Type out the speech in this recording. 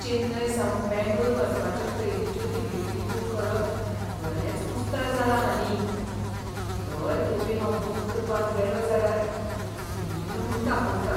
चेन्नय सावन बेंगळूर वचपाच्यो ट्रेनीच्यो तिकेटी बूक करप बरेंच कुस्तार जालां हालीं. दर खेपे हांव बूक करपाक गेलों जाल्यार फुल्ल म्हूण दाखयता.